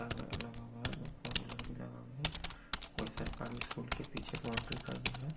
का है लगा हुआ है दो फोर व्हीलर भी लगा हुआ है कोई सरकारी स्कुल के पीछे बाउंड्री का ही है।